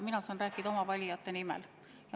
Mina saan rääkida oma valijate nimel.